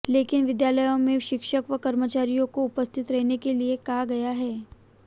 लेकिन विद्यालयों में शिक्षक व कर्मचारियों को उपस्थित रहने के लिए कहा गया है